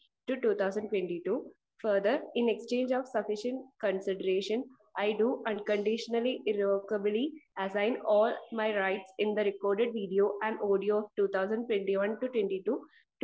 speaker 1 2022, further in exchange of sufficient consideration I do unconditionally irrevocably assign all my rights in the record video and audio 2021-22